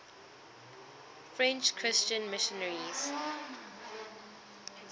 french christian missionaries